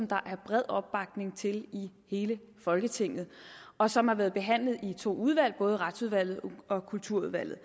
der er bred opbakning til i hele folketinget og som har været behandlet i to udvalg både retsudvalget og kulturudvalget